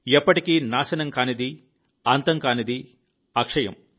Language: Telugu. ఎప్పటికీ నాశనం కానిది అంతం కానిది అక్షయం